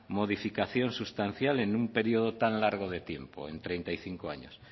modificación sustancial en un periodo tan largo de tiempo en treinta y cinco años